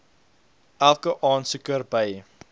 elke aansoeker by